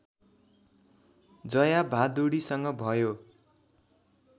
जया भादुडीसँग भयो